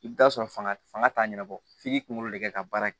I bɛ t'a sɔrɔ fanga fanga t'a ɲɛnabɔ f'i k'i kunkolo de ka baara kɛ